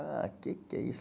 Ah, o que é que é isso?